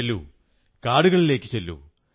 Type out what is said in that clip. ചെല്ലൂ കാടുകളിലേക്കു ചെല്ലൂ